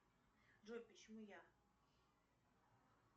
джой почему я